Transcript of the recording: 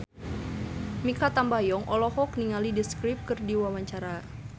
Mikha Tambayong olohok ningali The Script keur diwawancara